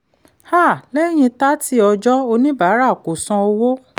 um lẹ́yìn 30 ọjọ́ oníbàárà kò san owó.